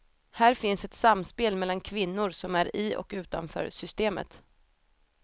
Här finns ett samspel mellan kvinnor som är i och utanför systemet.